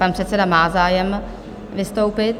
Pan předseda má zájem vystoupit.